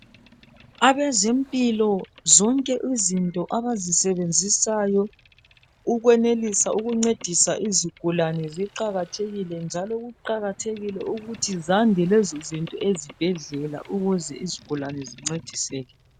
Abezempilo zonke izinto abazisebenzisayo ukwenelisa ukuncedisa izigulane ziqakathekile, njalo kuqakathekile ukuthi zande lezo zinto ezibhedlela ukuze izigulane zincediseke.